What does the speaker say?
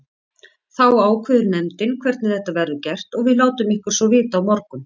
Þá ákveður nefndin hvernig þetta verður gert og við látum ykkur svo vita á morgun.